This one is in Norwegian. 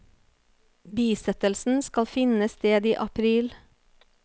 Bisettelsen skal finne sted i april.